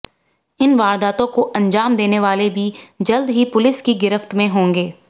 इन वारदातों को अंजाम देने वाले भी जल्द ही पुलिस की गिरफ्त में होंगे